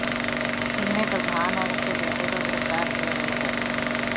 इनमें प्रधान और उसके बेटे को गिरफ्तार किया गया है